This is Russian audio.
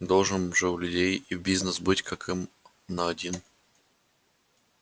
должен же у людей и бизнес быть как им на один